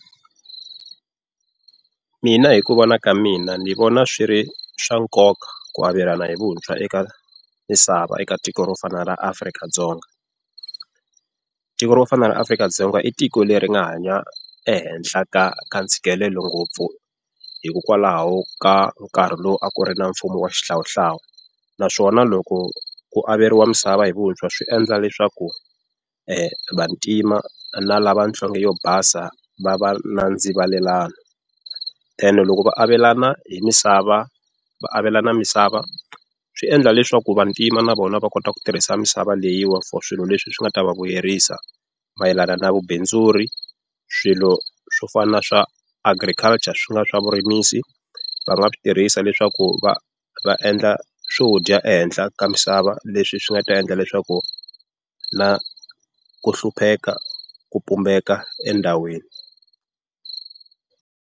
Mina hi ku vona ka mina ni vona swi ri swa nkoka ku avelana hi vuntshwa eka misava eka tiko ro fana na ra Afrika-Dzonga. Tiko ro fana na ra Afrika-Dzonga i tiko leri nga hanya ehenhla ka ka ntshikelelo ngopfu hikokwalaho ka nkarhi lowu a ku ri na mfumo wa xihlawuhlawu, naswona loko ku averiwa misava hi vuntshwa swi endla leswaku vantima na lava nhlonge yo basa va va na ndzivalelano. Then loko va avelana hi misava va avelana misava swi endla leswaku vantima na vona va kota ku tirhisa misava leyiwa for swilo leswi swi nga ta va vuyerisa mayelana na vubindzuri, swilo swo fana na swa agriculture swi nga swa vurimisi, va nga swi tirhisa leswaku va va endla swo dya ehenhla ka misava leswi swi nga ta endla leswaku na ku hlupheka ku pumbeka endhawini.